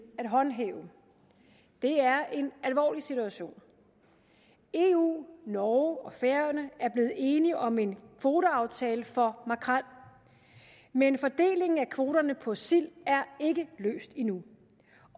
at håndhæve det er en alvorlig situation eu norge og færøerne er blevet enige om en kvoteaftale for makrel men fordelingen af kvoterne for sild er ikke løst endnu